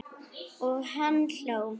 Og hann hló.